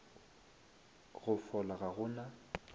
go fola ga go na